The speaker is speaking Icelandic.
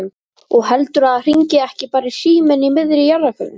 Og heldurðu að hringi ekki bara síminn í miðri jarðarförinni?